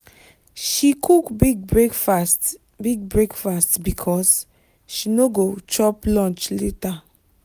she cook big breakfast big breakfast because she no go chop lunch later.